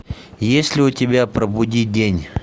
есть ли у тебя пробуди тень